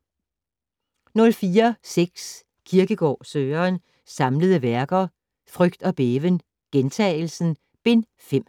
04.6 Kierkegaard, Søren: Samlede Værker: Frygt og Bæven ; Gjentagelsen: Bind 5